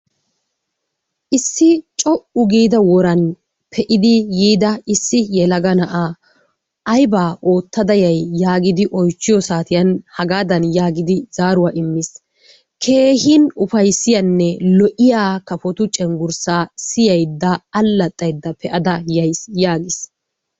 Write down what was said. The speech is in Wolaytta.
Issi co'u giida woran pe'idi yiida issi yelaga na'aa aybaa oottada yayi yaagidi oychchiyo saatiyan, hagaadan yaagidi zaaruwa immiis. Keehiin ufaysaiyanne lo'iya kafotu cenggurssaa siyaydda alaxxaydda pe'ada yayis yaagiis.